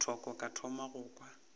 thoko ka thoma go kwa